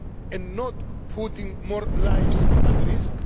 and not putting more lives at risk.